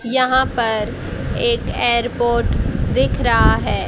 यहां पर एक एयरपोर्ट दिख रहा है।